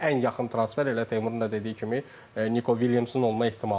Ən yaxın transfer elə Teymurun da dediyi kimi Niko Williamsın olma ehtimalı var.